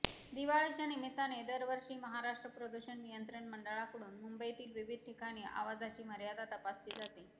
दिवाळीच्या निमित्ताने दरवर्षी महाराष्ट्र प्रदूषण नियंत्रण मंडळाकडून मुंबईतील विविध ठिकाणी आवाजाची मर्यादा तपासली जाते